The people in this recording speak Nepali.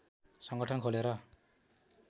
सङ्गठन खोलेर